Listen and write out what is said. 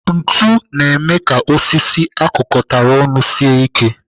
Ntu na-eme ka osisi akụkatara ọnụ sie ike.